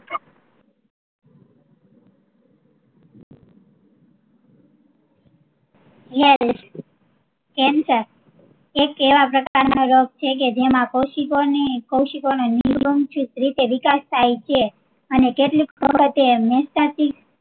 જયારે cancer એક એવા પ્રકાર નો રોગ છે કે જેમાં કોસીકો ની કોસિકો ને રીતે વિકાશ થાય છે અને કેટલીક વખતે